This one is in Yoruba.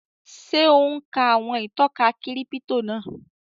Ṣé ò ún ka àwọn ìtọ́ka kírípítò náà?